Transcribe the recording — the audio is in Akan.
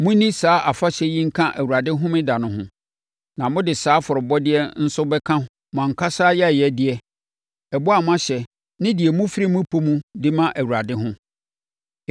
Monni saa afahyɛ yi nka Awurade Homeda no ho. Na mode saa afɔrebɔdeɛ nso bɛka mo ankasa ayɛyɛdeɛ, ɛbɔ a moahyɛ ne deɛ mofiri mo pɛ mu de ma Awurade ho.